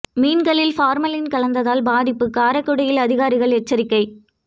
மீன்களில் பார்மலின் கலந்தால் பாதிப்பு காரைக்குடியில் அதிகாரிகள் எச்சரிக்கை